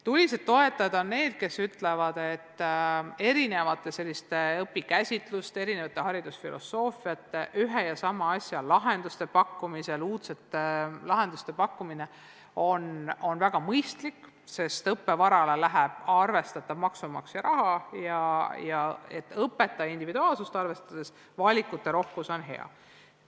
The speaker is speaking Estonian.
Tulised toetajad on need, kes ütlevad, et erinevate õpikäsitluste ja erinevate haridusfilosoofiate pakkumine ühe ja sama asja lahendustena – uudsete lahenduste pakkumine – on väga mõistlik, sest õppevarale läheb arvestatav hulk maksumaksja raha ja õpetajate individuaalsust arvestades on valikute rohkus hea.